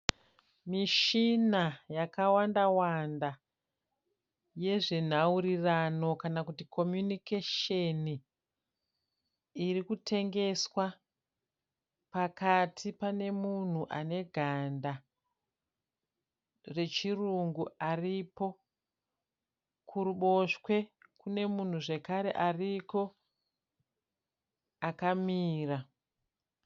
Mishina yakawandawanda yezvenhaurirano kana kuti kominikesheni iri kutengeswa. Pakati pane munhu ane ganda rechirungu aripo. Kuruboshwe kune munhu zvakare ariko akamira.